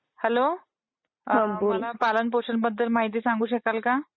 Hello मला पालन पोषण बद्दल माहिती सांगू शकाल का?